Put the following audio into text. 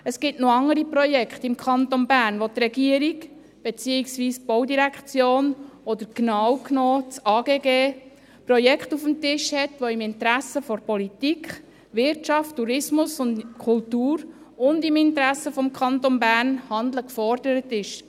Es liegen noch andere Projekte im Kanton Bern auf dem Tisch, wo seitens der Regierung, beziehungsweise der Baudirektion oder genau genommen seitens des Amts für Grundstücke und Gebäude (AGG), im Interesse von Politik, Wirtschaft, Tourismus und Kultur und im Interesse des Kantons Bern, Handeln gefordert ist.